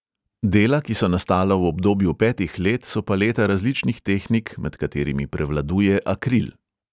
Dela, ki so nastala v obdobju petih let, so paleta različnih tehnik, med katerimi prevladuje akril.